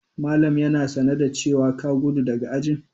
Malam yana sane da cewa ka hudu daga ajin?